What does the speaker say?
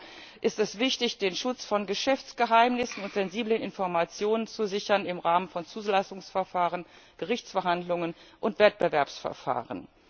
Auch ist es wichtig, den Schutz von Geschäftsgeheimnissen und sensiblen Informationen zu sichern im Rahmen von Zulassungsverfahren, Gerichtsverhandlungen und Wettbewerbsverfahren.